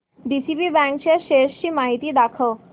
DCB bank च्या shares ची माहिती दाखव